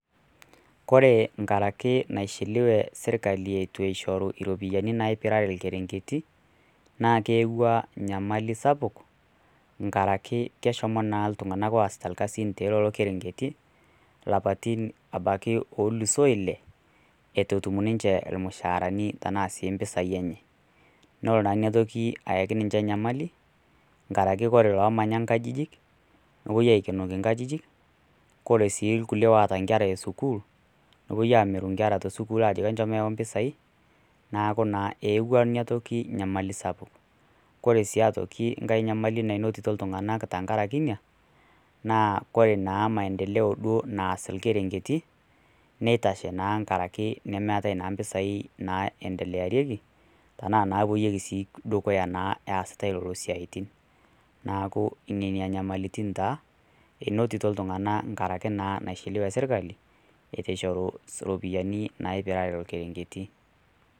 Kore inkaraki naishelewe serkali eitu eishoru iropiani naipirare ilkerenketi, naa keyauwa enyamali sapuk nkaraki keshomo naa lelo tung'ana oasita isiaitin te lelo kerenketi lapaitin obaiki oluusoo ile eitu etum naa ninche ilmusaarani tanaa sii impisai enye, nelo naaina toki ayaki ninche nyamali, nkaraki kore iloomanya inkajijik nepuoi aikenoki inkajijik, kore sii ilkulie oata inkera e sukuul nepuoi amiru inkera te sukuul ajoki enchom eyau impisai, neaku naa eyauwa naa ina toki nyamali sapuk. Kore sii aitoki nkai nyamali nainotito iltung'ana enkaraki inia, naa ore duo maendileo naas ilkerinketi, neitashe naa enkaraki nemeatai naa impisai naendelearieki, tanaa nawuoyieki naa dukuya naa easitai lelo siaitin, neaku inenia inyamalitin taa einotito iltung'ana enkaraki naa naishelewe sirkali eitu eishoru iropiani naipirare ilkerenketi.